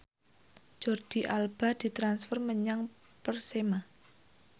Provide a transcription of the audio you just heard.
Jordi Alba ditransfer menyang Persema